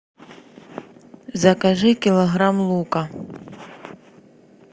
закажи килограмм лука